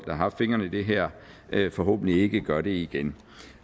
har haft fingrene i det her forhåbentlig ikke gør det igen